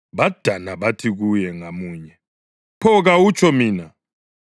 Badana, bathi kuye ngamunye, “Pho kawutsho mina?”